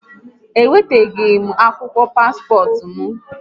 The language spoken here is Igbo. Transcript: Ewetagom akwụkwọ paspọt m